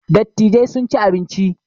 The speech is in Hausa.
Dattijai sun ci abinci